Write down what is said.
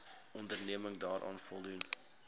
onderneming daaraan voldoen